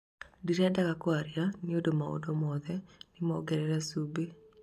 ndirendaga kwaria nĩũndũ maũndũ mothe nĩmongerere cumbĩ"